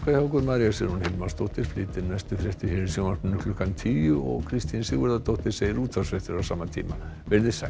María Sigrún Hilmarsdóttir flytur næstu fréttir hér í sjónvarpinu klukkan tíu og Kristín Sigurðardóttir segir útvarpsfréttir á sama tíma veriði sæl